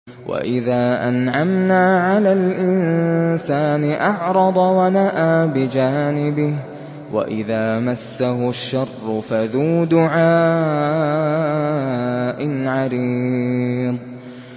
وَإِذَا أَنْعَمْنَا عَلَى الْإِنسَانِ أَعْرَضَ وَنَأَىٰ بِجَانِبِهِ وَإِذَا مَسَّهُ الشَّرُّ فَذُو دُعَاءٍ عَرِيضٍ